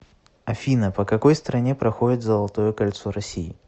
афина по какой стране проходит золотое кольцо россии